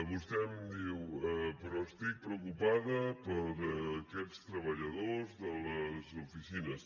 vostè em diu però estic preocupada per aquests treballadors de les oficines